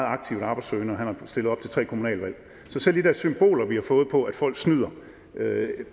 aktivt arbejdssøgende og han har stillet op til tre kommunalvalg så selv de der symboler vi har fået på at folk snyder